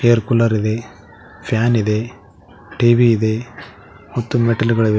Air cooler ಇದೆ fan ಇದೆ TV ಇದೆ ಮತ್ತು ಮೆಟ್ಟಲುಗಳಿವೆ.